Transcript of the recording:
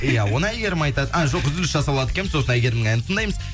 иә оны әйгерім айтады а жоқ үзіліс жасап алады екенбіз сосын әйгерімнің әнін тыңдаймыз